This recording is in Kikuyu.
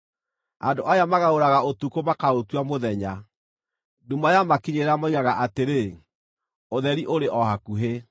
Andũ aya magarũraga ũtukũ makaũtua mũthenya; nduma yamakinyĩrĩra moigaga atĩrĩ, ‘Ũtheri ũrĩ o hakuhĩ.’